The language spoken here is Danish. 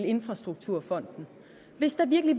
infrastrukturfonden hvis der virkelig